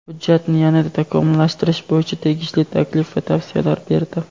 hujjatni yana-da takomillashtirish bo‘yicha tegishli taklif va tavsiyalar berdi.